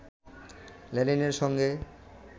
লেনিনের সঙ্গে